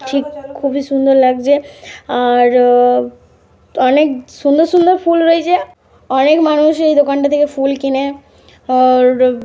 ঠিক খুবই সুন্দর লাগছে। আর র অনেক সুন্দর সুন্দর ফুল রয়েছে। অনেক মানুষ এই দোকানটা দিয়ে ফুল কিনে। আর র --